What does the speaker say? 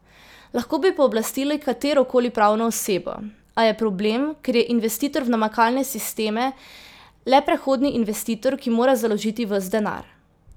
Lahko bi pooblastili katero koli pravno osebo, a je problem, ker je investitor v namakalne sisteme le prehodni investitor, ki mora založiti ves denar.